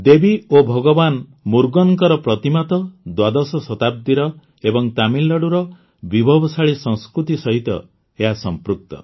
ଦେବୀ ଓ ଭଗବାନ ମୁର୍ଗନଙ୍କ ପ୍ରତିମା ତ ଦ୍ୱାଦଶ ଶତାବ୍ଦୀର ଏବଂ ତାମିଲନାଡୁର ବିଭବଶାଳୀ ସଂସ୍କୃତି ସହିତ ଏହା ସଂପୃକ୍ତ